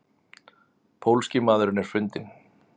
Pólski maðurinn er fundinn?